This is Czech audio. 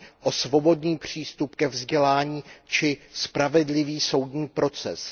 o svobodný přístup ke vzdělání či spravedlivý soudní proces.